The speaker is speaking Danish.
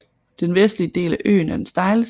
Den vestlige del af øen er den stejleste